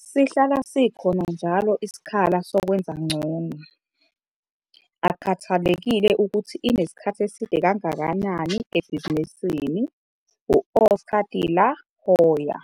'Sihlala sikhona njalo isikhala sokwenza ngcono, akukhathalekile ukuthi inesikhathi eside kangakanani ebhizinisini'. - u-Oscar De La Hoya.